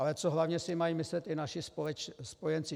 Ale co hlavně si mají myslet i naši spojenci?